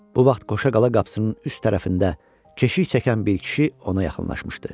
Bu vaxt Qoşa Qala qapısının üst tərəfində keşik çəkən bir kişi ona yaxınlaşmışdı.